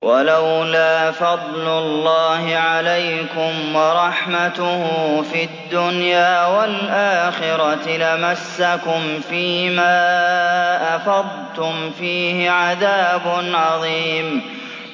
وَلَوْلَا فَضْلُ اللَّهِ عَلَيْكُمْ وَرَحْمَتُهُ فِي الدُّنْيَا وَالْآخِرَةِ لَمَسَّكُمْ فِي مَا أَفَضْتُمْ فِيهِ عَذَابٌ عَظِيمٌ